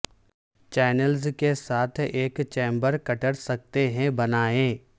channels کے ساتھ ایک چیمبر کٹر سکتے ہیں بنائیں